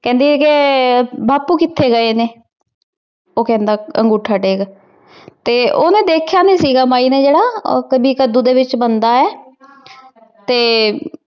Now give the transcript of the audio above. ਕਹਿੰਦੇ ਕਿ ਬਾਪੂ ਕਿਥੇ ਗਏ ਨੇ? ਉਹ ਕਹਿੰਦਾ ਅੰਗੂਠਾਟੇਕ ਤੇ ਉਹ ਨਾ ਦੇਖਿਆ ਨੀ ਸੀਗਾ ਮਾਈ ਨੇ ਜਿਹੜਾ ਕਦੀ ਕੱਦੂ ਦੇ ਵਿੱਚ ਬੰਦਾ ਐ ਤੇ